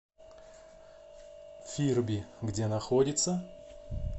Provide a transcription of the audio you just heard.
фирби где находится